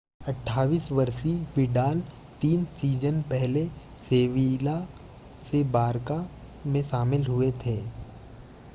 28 वर्षीय विडाल तीन सीजन पहले सेविला से बारका में शामिल हुए थे